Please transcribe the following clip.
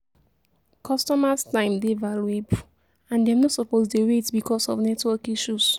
Customers' time dey valuable, and dem no suppose dey wait because of network issues.